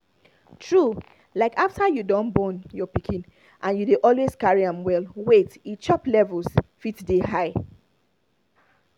true like after you don born your pikin and you dey always carry am well wait e chop levels fit dey high